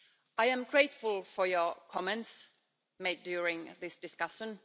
I am grateful for your comments made during this discussion.